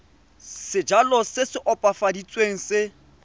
sejalo se se opafaditsweng se